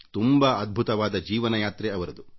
ತುಂಬಾ ಅದ್ಭುತವಾದ ಜೀವನ ಯಾತ್ರೆ ಅವರದು